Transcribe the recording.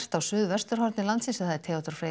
á suðvesturhorni landsins Theodór Freyr